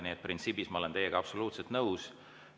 Nii et printsiibis ma olen teiega absoluutselt nõus.